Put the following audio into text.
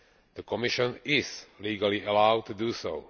The Commission is legally allowed to do so.